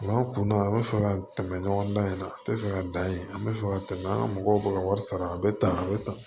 N'an kunda an bɛ fɛ ka tɛmɛ ɲɔgɔn dan in na a tɛ fɛ ka dan ye an bɛ fɛ ka tɛmɛ an ka mɔgɔw b'u ka wari sara a bɛ tan a bɛ tan